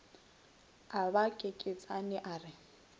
a ba kekeetšane a re